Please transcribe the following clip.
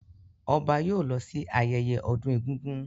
Ọba yóò lọ sí ayẹyẹ ọdún egúngún.